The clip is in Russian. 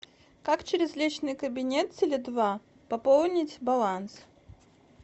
как через личный кабинет теле два пополнить баланс